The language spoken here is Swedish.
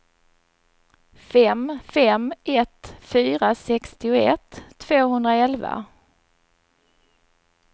fem fem ett fyra sextioett tvåhundraelva